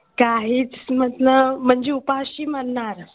काहीच म्हणजे उपाशी मरणार